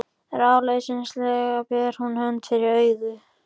Ráðleysislega ber hún hönd fyrir augu.